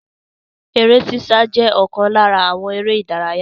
Eré ṣíṣá je okan lara àwọn ère ìdárayá.